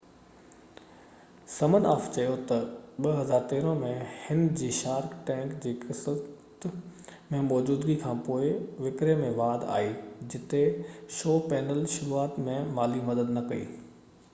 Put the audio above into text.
سمن آف چيو تہ 2013 ۾ هن جي شارڪ ٽينڪ جي قسط ۾ موجودگي کانپوءِ وڪري ۾ واڌ آئي جتي شو پينل شروعات ۾ مالي مدد نہ ڪئي